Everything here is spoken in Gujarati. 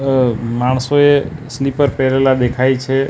માણસોએ સ્લીપર પેહરેલા દેખાય છે.